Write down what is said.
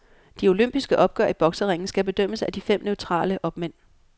De olympiske opgør i bokseringen skal bedømmes af de fem neutrale opmænd.